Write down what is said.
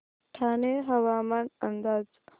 ठाणे हवामान अंदाज